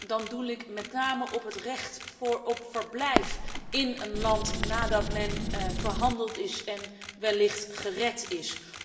Dan doel ik met name op het recht van verblijf in een land, nadat men verhandeld en wellicht gered is.